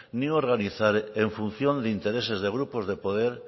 ni organizar en función de intereses de grupos de poder